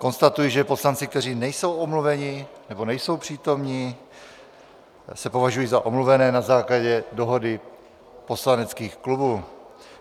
Konstatuji, že poslanci, kteří nejsou omluveni nebo nejsou přítomni, se považují za omluvené na základě dohody poslaneckých klubů.